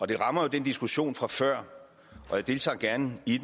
det rammer jo den diskussion fra før jeg deltager gerne i